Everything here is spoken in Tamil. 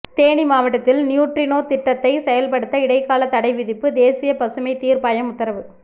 தேனி மாவட்டத்தில் நியூட்ரினோ திட்டத்தைசெயல்படுத்த இடைக்கால தடை விதிப்பு தேசிய பசுமை தீர்ப்பாயம் உத்தரவு